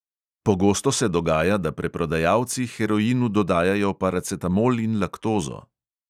Pogosto se dogaja, da preprodajalci heroinu dodajajo paracetamol in laktozo.